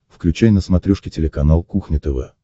включай на смотрешке телеканал кухня тв